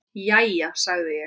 Jæja, sagði ég.